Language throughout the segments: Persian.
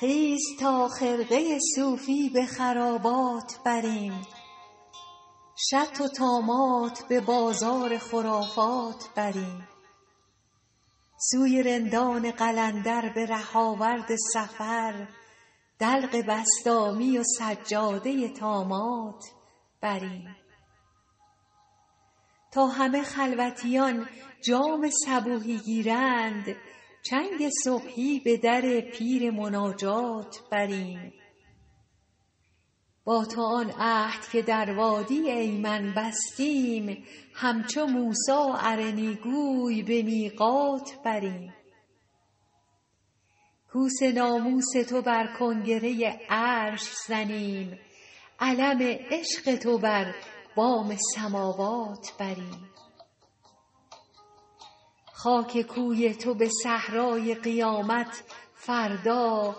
خیز تا خرقه صوفی به خرابات بریم شطح و طامات به بازار خرافات بریم سوی رندان قلندر به ره آورد سفر دلق بسطامی و سجاده طامات بریم تا همه خلوتیان جام صبوحی گیرند چنگ صبحی به در پیر مناجات بریم با تو آن عهد که در وادی ایمن بستیم همچو موسی ارنی گوی به میقات بریم کوس ناموس تو بر کنگره عرش زنیم علم عشق تو بر بام سماوات بریم خاک کوی تو به صحرای قیامت فردا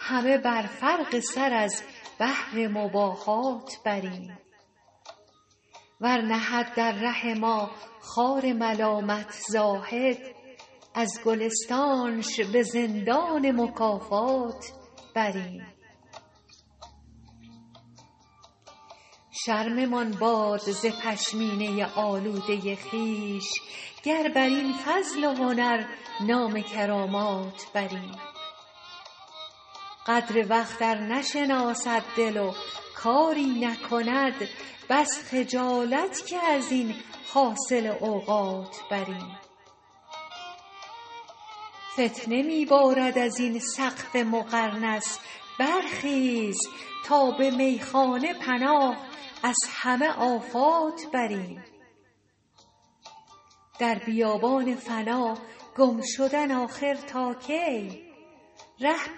همه بر فرق سر از بهر مباهات بریم ور نهد در ره ما خار ملامت زاهد از گلستانش به زندان مکافات بریم شرممان باد ز پشمینه آلوده خویش گر بدین فضل و هنر نام کرامات بریم قدر وقت ار نشناسد دل و کاری نکند بس خجالت که از این حاصل اوقات بریم فتنه می بارد از این سقف مقرنس برخیز تا به میخانه پناه از همه آفات بریم در بیابان فنا گم شدن آخر تا کی ره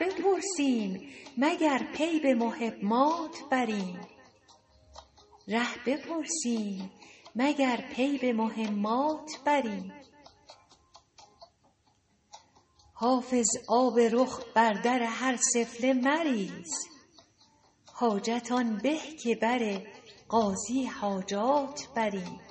بپرسیم مگر پی به مهمات بریم حافظ آب رخ خود بر در هر سفله مریز حاجت آن به که بر قاضی حاجات بریم